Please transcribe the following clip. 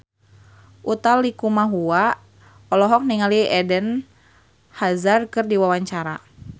Utha Likumahua olohok ningali Eden Hazard keur diwawancara